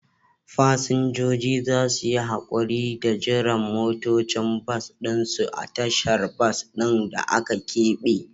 Fasinjoji za su yi haƙuri da jiran motocin bas ɗin su a tashar bas ɗin da aka keɓe.